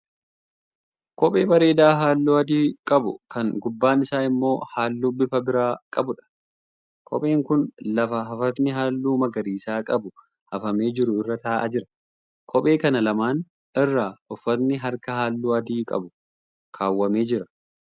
Kophee bareedaa halluu adii qabu kan gubbaan isaa immoo halluu bifa biraa qabuudha. Kopheen kun lafa hafatni halluu magariisa qabu hafamee jiru irra ta'aa jira. Kophee kana lamaan irra uffati harkaa halluu adii qabu kaawwamee jira.